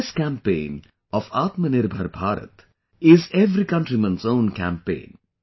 This campaign of 'Atmanirbhar Bharat' is the every countryman's own campaign